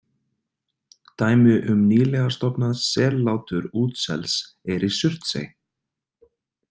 Dæmi um nýlega „stofnað“ sellátur útsels er í Surtsey.